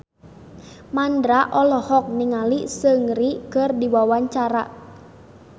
Mandra olohok ningali Seungri keur diwawancara